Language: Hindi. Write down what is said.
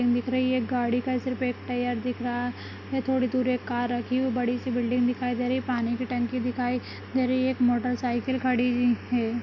दिख रही है गाडी का सिर्फ एक टायर दिख रहा ये थोड़ी दूर एक कार रखी हुई और बडीसी बिल्डिंग दिखाई दे रही पानी की टंकी दिखाई दे रही एक मोटर साईकल खड़ी है।